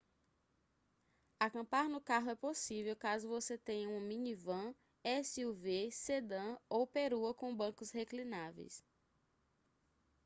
acampar no carro é possível caso você tenha uma minivan suv sedã ou perua com bancos reclináveis